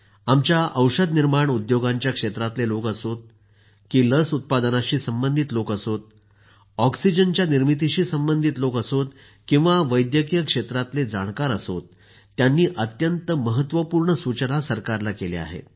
आमच्या औषध निर्माण उद्योगांच्या क्षेत्रातले लोक असोत की लस उत्पादनाशी संबंधित लोक असोत ऑक्सिजनच्या निर्मितीशी संबंधित लोक असोत किंवा मग वैद्यकीय क्षेत्रातले जाणकार असोत त्यांनी अत्यंत महत्वपूर्ण सूचना सरकारला केल्या आहेत